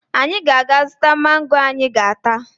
Anyị ga-aga zụta mango anyị ga-ata